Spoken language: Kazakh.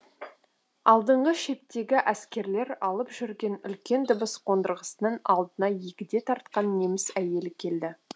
алдыңғы шептегі әскерлер алып жүрген үлкен дыбыс қондырғысының алдына егде тартқан неміс әйелі келді